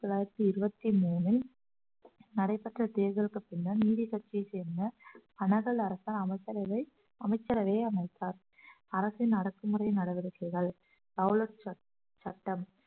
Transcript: ஆயிரத்தி தொள்ளாயிரத்தி இருபத்தி மூணில் நடைபெற்ற தேர்தலுக்கு பின்னர் நீதி கட்சியை சேர்ந்த அனகல் அரசால் அமைச்சரவை அமைச்சரவையை அமைத்தார் அரசின் அடக்குமுறை நடவடிக்கைகள் ரௌலட் சட்~ சட்டம்